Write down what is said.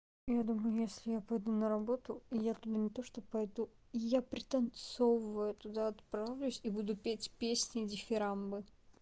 я думаю если я пойду на работу и я туда не то что пойду и я пританцовывая туда отправлюсь и буду петь песни дифирамбы